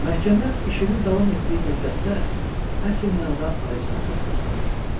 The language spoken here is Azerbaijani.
Məhkəmə işinin davam etdiyi müddətdə əsl mənada ali cənablıq göstərir.